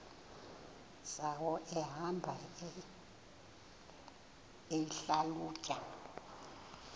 zawo ehamba eyihlalutya